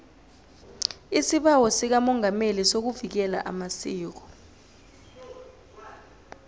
isibawo sikamongameli sokuvikela amasiko